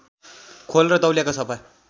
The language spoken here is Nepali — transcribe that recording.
खोल र तौलिया सफा